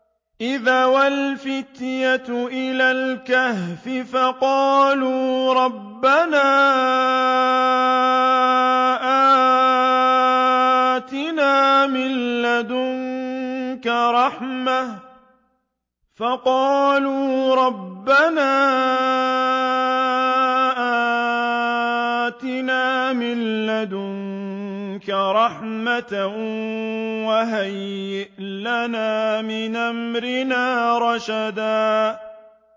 إِذْ أَوَى الْفِتْيَةُ إِلَى الْكَهْفِ فَقَالُوا رَبَّنَا آتِنَا مِن لَّدُنكَ رَحْمَةً وَهَيِّئْ لَنَا مِنْ أَمْرِنَا رَشَدًا